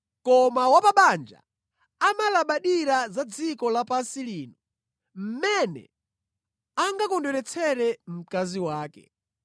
Koma wa pa banja amalabadira za dziko lapansi lino, mmene angakondweretsere mkazi wake,